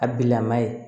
A bi lama ye